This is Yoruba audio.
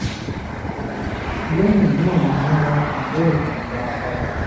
lẹ́yìn náà ni wọ́n wá fi bẹ́ẹ̀tì dá a padà